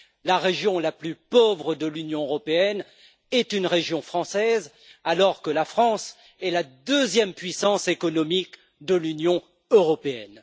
La région la plus pauvre de l'Union européenne est une région française alors que la France est la deuxième puissance économique de l'Union européenne.